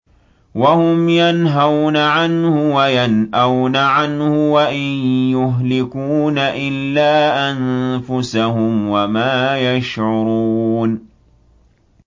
وَهُمْ يَنْهَوْنَ عَنْهُ وَيَنْأَوْنَ عَنْهُ ۖ وَإِن يُهْلِكُونَ إِلَّا أَنفُسَهُمْ وَمَا يَشْعُرُونَ